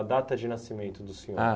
data de nascimento do senhor? Ah